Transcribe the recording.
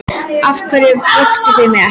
Af hverju vöktuð þið mig ekki?